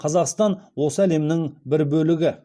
қазақстан осы әлемнің бір бөлігі